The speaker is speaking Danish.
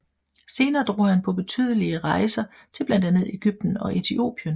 Senere drog han på betydelige rejser til blandt andet Egypten og Etiopien